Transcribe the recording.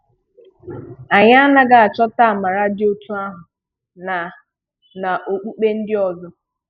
Anyị anaghị achọ̀tà àmàrà dị otú ahụ na na okpùkpè ndị ọzọ.